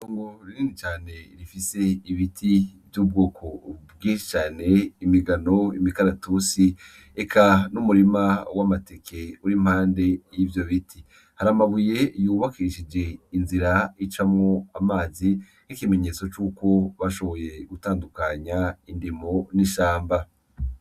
Itongo rinini cane rifise ibiti vy'ubwoko vyinshi cane bitandukanye imigano n'imikaratusi eka n'umurima w'amateke uri impande y'ivyo biti, hari amabuye yubakishije inzira icamwo amazi n'ikimenyetso cuko bashoboye gutandukanya indimiro n'ishamba.